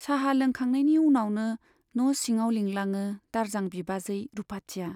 चाहा लोंखांनायनि उनावनो न' सिङाव लिंलाङो दारजां बिबाजै रुपाथिया।